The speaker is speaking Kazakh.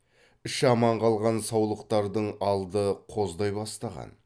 іші аман қалған саулықтардың алды қоздай бастаған